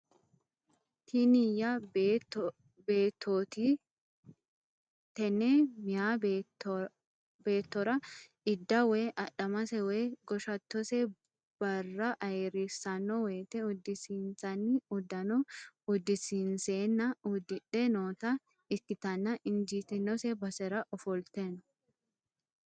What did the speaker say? Tinieyya beettooti tenne meeya bewtora idaa woy adhamase woy goshattose barraayiirrissanno woyte uddisiinsanni uddano uddisionseenna uddidhe noota ikkitanna injiitinose basera ofolte no.